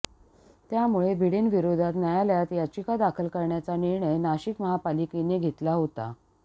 त्यामुळे भिडेंविरोधात न्यायालयात याचिका दाखल करण्याचा निर्णय नाशिक महापालिकेने घेतला होता